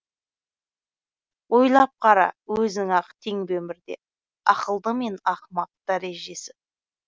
ойлап қара өзің ақ тең бе өмірде ақылды мен ақымақ дәрежесі